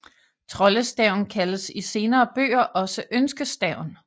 Troldestaven kaldes i senere bøger også ønskestaven